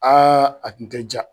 Aa a kun tɛ ja.